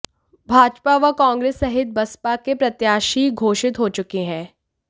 भाजपा व कांगे्रस सहित बसपा के प्रत्याशी घोषित हो चुके हैं